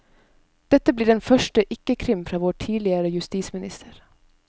Dette blir den første ikkekrim fra vår tidligere justisminister.